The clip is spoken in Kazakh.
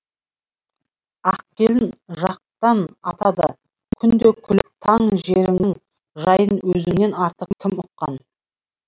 ақкелін жақтан атады күнде күліп таң жеріңнің жайын өзіңнен артық кім ұққан